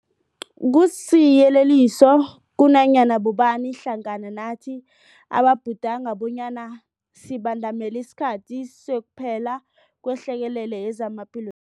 Kusiyeleliso kunanyana bobani hlangana nathi ababhudanga bonyana sibandamele isikhathi sokuphela kwehlekelele yezamaphilo